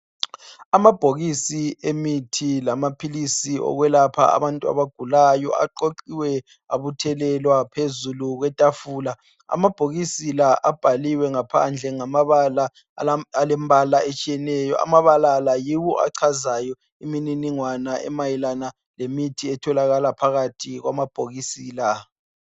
Amabhokisi emithi lamaphilisi okwelapha abantu abagulayo aqoqiwe abuthelelwa phezulu kwetafula . Amabhokisi la abhaliwe ngaphandle ngamabala alembala etshiyeneyo. Amabala la yiwo achaza imininingwane emayelana lemithi etholakala phakathi kwamabhokisi la.